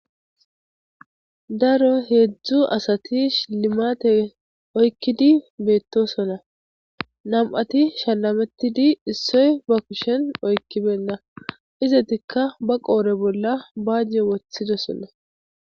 Daro heezu asati shilimaate oykidi beetosona nam'ati shalametidi issoy ba kushen oykibena izetika ba qoore bolla baaje wothidosona.